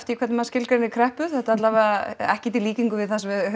hvernig maður skilgreinir kreppu þetta alla vega ekkert í líkingu við það sem við